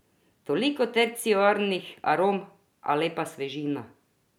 Toliko terciarnih arom, a lepa svežina!